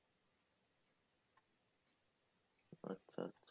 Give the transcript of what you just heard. আচ্ছা